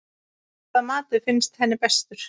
Hvaða matur finnst henni bestur?